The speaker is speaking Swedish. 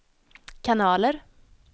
kanaler